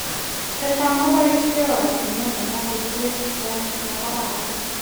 Chechang koboisin oratunwek alek koteren korotiik ab arawet.